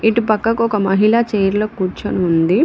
ఇటు పక్కకు ఒక మహిళా చైర్ లో కూర్చొని ఉంది.